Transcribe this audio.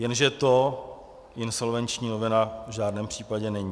Jenže to insolvenční novela v žádném případě není.